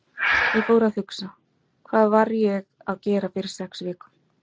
Ég fór að hugsa: Hvað var ég að gera fyrir sex vikum?